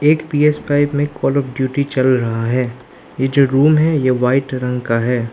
एक P S pipe में call of duty चल रहा है यह जो रूम है ये व्हाइट रंग का है।